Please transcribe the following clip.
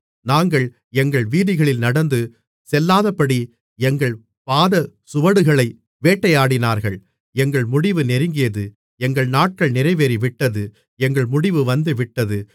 நாங்கள் எங்கள் வீதிகளில் நடந்து செல்லாதபடி எங்கள் பாதசுவடுகளை வேட்டையாடினார்கள் எங்கள் முடிவு நெருங்கியது எங்கள் நாட்கள் நிறைவேறிவிட்டது எங்கள் முடிவு வந்துவிட்டது